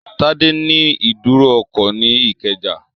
Tádé ní ìdúró ọkọ̀ ní Ìkẹjà